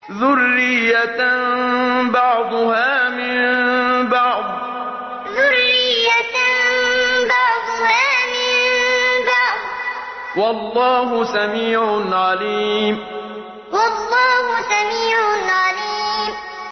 ذُرِّيَّةً بَعْضُهَا مِن بَعْضٍ ۗ وَاللَّهُ سَمِيعٌ عَلِيمٌ ذُرِّيَّةً بَعْضُهَا مِن بَعْضٍ ۗ وَاللَّهُ سَمِيعٌ عَلِيمٌ